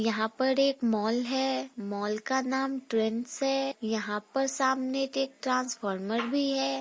यहाँ पर एक मॉल है मॉल का नाम ट्रेंस है यहाँ पर सामने एक एक ट्रैन्स्फॉर्मर भी है।